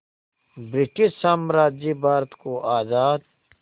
British साम्राज्य भारत को आज़ाद